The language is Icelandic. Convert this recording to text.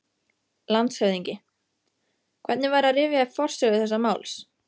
LANDSHÖFÐINGI: Hvernig væri að rifja upp forsögu þessa máls?